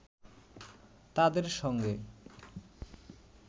তাদের সঙ্গে